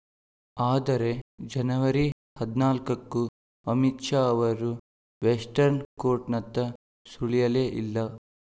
ಆದರೆ ಜನವರಿ ಹದಿನಾಲ್ಕಕ್ಕೂ ಅಮಿತ್‌ ಶಾ ಅವರು ವೆಸ್ಟರ್ನ್‌ ಕೋರ್ಟ್‌ನತ್ತ ಸುಳಿಯಲೇ ಇಲ್ಲ